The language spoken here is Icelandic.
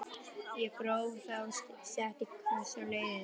Ég gróf þá og setti kross á leiðið.